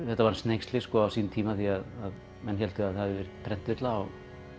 þetta var hneyksli á sínum tíma því menn héldu að það hefði verið prentvilla